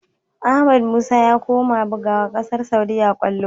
Ahmad musa ya koma bigawa ƙasar saudia kallo